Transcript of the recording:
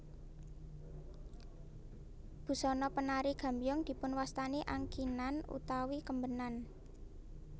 Busana penari gambyong dipunwastani angkinan utawi kembenan